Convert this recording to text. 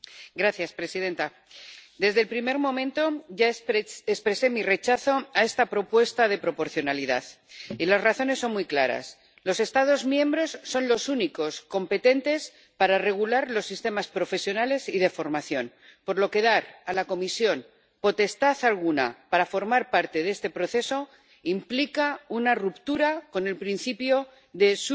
Señora presidenta, desde el primer momento ya expresé mi rechazo a esta propuesta de proporcionalidad, y las razones son muy claras los Estados miembros son los únicos competentes para regular los sistemas profesionales y de formación, por lo que dar a la Comisión potestad alguna para formar parte de este proceso implica una ruptura con el principio de